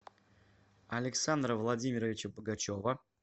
александра владимировича богачева